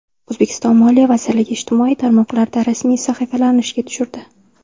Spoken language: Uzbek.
O‘zbekiston Moliya vazirligi ijtimoiy tarmoqlarda rasmiy sahifalarini ishga tushirdi.